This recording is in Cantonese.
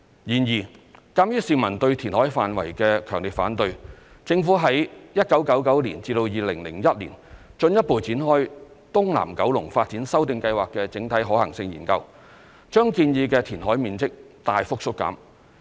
然而，鑒於市民對填海範圍的強烈反對，政府於1999年至2001年進一步展開"東南九龍發展修訂計劃的整體可行性研究"，把建議的填海面積大幅縮減。